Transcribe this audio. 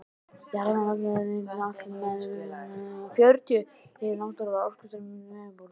Jarðvarmavirkjanir nýta alltaf með borunum margfalt hið náttúrlega orkustreymi til yfirborðs.